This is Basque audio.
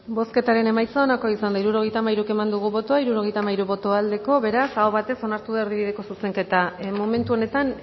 bozketaren emaitza onako izan da hirurogeita hamairu eman dugu bozka hirurogeita hamairu boto aldekoa beraz aho batez onartu da erdibideko zuzenketa momentu honetan